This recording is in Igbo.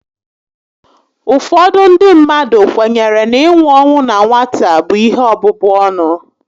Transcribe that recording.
Ụfọdụ ndị mmadụ kwenyere na inwu ọnwụ na nwata bụ ihe ọbụbụ ọnụ